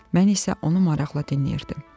Mən isə onu maraqla dinləyirdim.